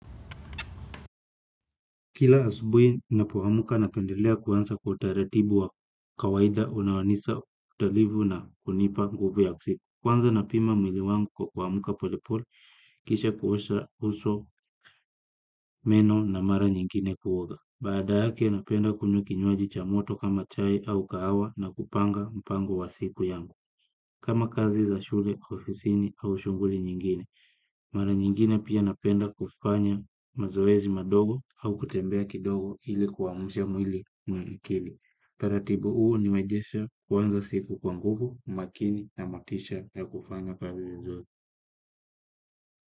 Kila asubuhi, napoamka napendelea kuanza kwa utaratibu wa kawaida unaonyesha utalivu na kunipa nguvu ya usiku. Kwanza napima mwili wangu kwa kuamka polepole, kisha kuosha uso meno na mara nyingine kuoga. Baada yake, napenda kunywa kinywaji cha moto kama chai au kahawa na kupanga mpango wa siku yangu. Kama kazi za shule, ofisini au shughuli nyingine, mara nyingine pia napenda kufanya mazoezi madogo au kutembea kidogo ili kuamusha mwili milikili. Utaratibu huu huniwezesha kuanza siku kwa nguvu, makini na motisha ya kufanya kazi vizuri.